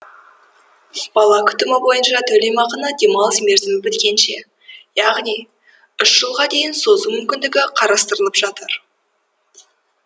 бала күтімі бойынша төлемақыны демалыс мерзімі біткенше яғни үш жылға дейін созу мүмкіндігі қарастырылып жатыр